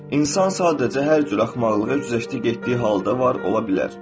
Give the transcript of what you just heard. İnsan sadəcə hər cür axmaqlığı güzəştdə getdiyi halda var ola bilər.